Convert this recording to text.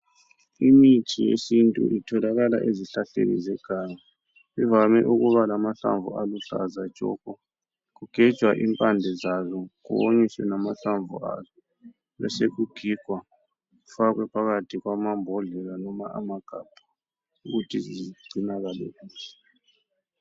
Imithi yesintu itholakala ezihlahleni zeganga, ivame ukuba lamahlamvu aluhlaza tshoko kugejwa impande zazo konyiswe lamahlamvu azo besokugigwa kufakwe phakathi kwamambodlela noma amagabha ukuthi zigcinakale kuhle.